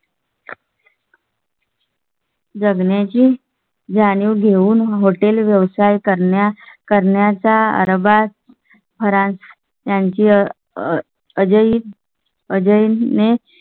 जगण्या ची जाणीव घेऊन hotel व्यवसाय करण्या करण्याचा अरबाज. त्यांची अजय अजय ने.